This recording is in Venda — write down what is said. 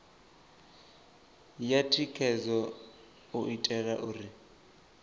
ya thikhedzo u itela uri